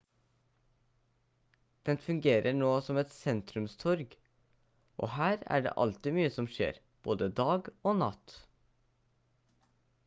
den fungerer nå som et sentrumstorg og her er det alltid mye som skjer både dag og natt